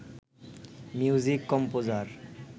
music composer